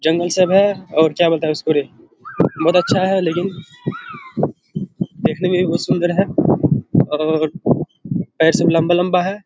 जंगल सब है और क्या बोलता है इसको रे बहुत अच्छा है लेकिन देकने में भी बहुत सूंदर है और पेर सब लम्बा-लम्बा है।